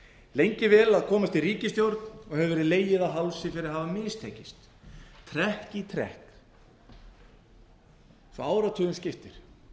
lengi vel að komandi ríkisstjórn hafi verið legið á hálsi fyrir að hafa mistekist trekk í trekk svo áratugum skiptir